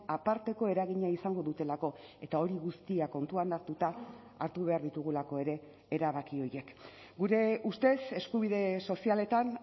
aparteko eragina izango dutelako eta hori guztia kontuan hartuta hartu behar ditugulako ere erabaki horiek gure ustez eskubide sozialetan